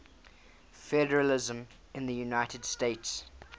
federalism in the united states